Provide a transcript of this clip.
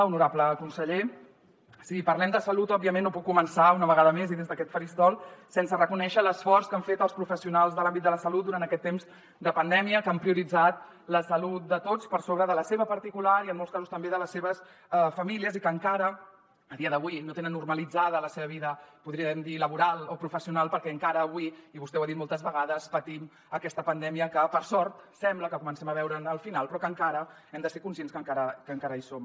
honorable conseller si parlem de salut òbviament no puc començar una vegada més i des d’aquest faristol sense reconèixer l’esforç que han fet els professionals de l’àmbit de la salut durant aquest temps de pandèmia que han prioritzat la salut de tots per sobre de la seva particular i en molts casos també de les seves famílies i que encara a dia d’avui no tenen normalitzada la seva vida podríem dir laboral o professional perquè encara avui i vostè ho ha dit moltes vegades patim aquesta pandèmia que per sort sembla que comencem a veure’n el final però que hem de ser conscients que encara hi som